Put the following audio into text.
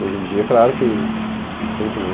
Hoje em dia, claro que sempre, né?